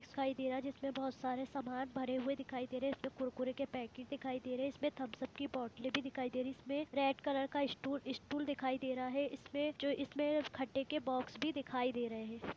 दिखाई दे रहा है जिसमें बहुत और सामान भरे दिखाई दे रहे है इसमें कुरकुरे के पेकेट दिखाई दे रहे है इसमें थम्सब की बोतले भी दिखाई दे रही है इसमें रेड कलर का स्टूल दिखाई दे रहा है इसमें जो इसमें खट्टे के बोक्स भी दिखाई दे रहे है।